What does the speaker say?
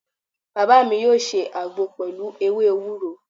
Baba mi yọ ṣe àgbo pẹlu ewé ewúro